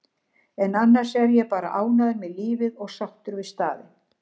en annars er ég bara ánægður með lífið og sáttur við staðinn.